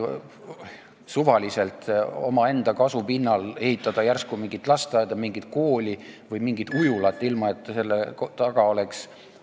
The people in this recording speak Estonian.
Suvaliselt, omaenda kasu pinnalt ehitatakse järsku mingi lasteaed, mingi kool või mingi ujula, ilma et selle taga oleks ...